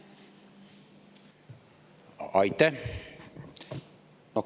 Aitäh!